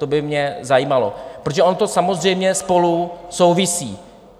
To by mě zajímalo, protože ono to samozřejmě spolu souvisí.